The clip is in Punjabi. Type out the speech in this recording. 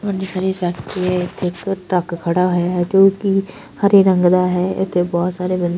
ਵੱਡੀ ਸਾਰੀ ਸੜਕ ਹੈ ਤੇ ਇੱਕ ਟਰੱਕ ਖੜ੍ਹਾ ਹੋਇਆ ਹੈ ਜੋਕਿ ਹਰੇ ਰੰਗ ਦਾ ਹੈ ਇੱਥੇ ਬਹੁਤ ਸਾਰੇ--